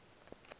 yusuf ibn tashfin